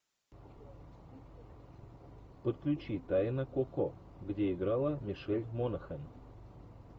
подключи тайна коко где играла мишель монахэн